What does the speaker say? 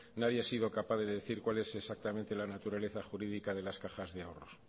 nadie ha sido capaz de decir cuál es exactamente la naturaleza jurídica de las cajas de ahorros